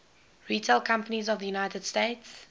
retail companies of the united states